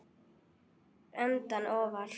Hvort liðið endar ofar?